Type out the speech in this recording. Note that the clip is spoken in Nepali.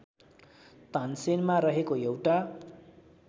तानसेनमा रहेको एउटा